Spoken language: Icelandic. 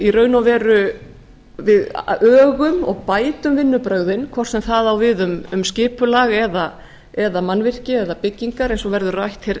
í raun og veru við ögum og bætum vinnubrögðin hvort sem það á við um skipulag mannvirki eða byggingar eins og verður rætt